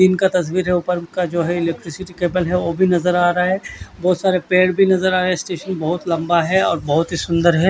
दिन का तस्वीर है ऊपर जो है इलेक्ट्रिसिटी कबल है वो भी नज़र आ रहा है बोहोत सारे पेड़ भी नज़र आ रहे है स्टेशन बोहोत ही लम्बा है और बोहोत ही सुन्दर है।